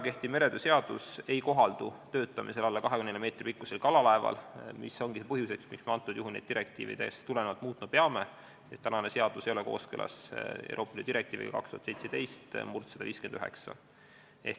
Kehtiv meretöö seadus ei kohaldu töötamise korral alla 24 meetri pikkusel kalalaeval, mis ongi põhjuseks, miks me neid seadusi direktiividest tulenevalt muutma peame, sest seadus ei ole kooskõlas Euroopa Liidu direktiiviga 2017/159.